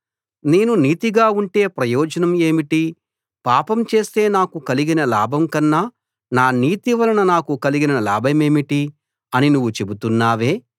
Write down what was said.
నేను నీతిగా ఉంటే ప్రయోజనం ఏమిటి పాపం చేస్తే నాకు కలిగిన లాభం కన్నా నా నీతి వలన నాకు కలిగిన లాభమేమిటి అని నువ్వు చెబుతున్నావే